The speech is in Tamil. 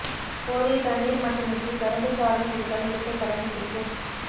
போதிய தண்ணீர் மட்டுமின்றி கரும்பு சாறும் குடித்தால் இரட்டை பலன் கிடைக்கும்